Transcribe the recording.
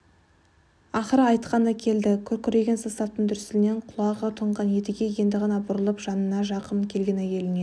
ақыры айтқаны келді күркіреген составтың дүрсілінен құлағы тұнған едіге енді ғана бұрылып жанына жақын келген әйеліне